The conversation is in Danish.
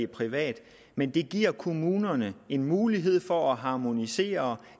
privat men det giver kommunerne en mulighed for at harmonisere